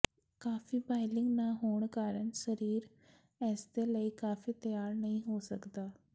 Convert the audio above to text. ਕਾਫ਼ੀ ਬਾਈਲਿੰਗ ਨਾ ਹੋਣ ਕਾਰਨ ਸਰੀਰ ਇਸਦੇ ਲਈ ਕਾਫ਼ੀ ਤਿਆਰ ਨਹੀਂ ਹੋ ਸਕਦਾ